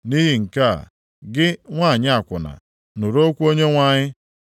“ ‘Nʼihi nke a, gị nwanyị akwụna, nụrụ okwu Onyenwe anyị!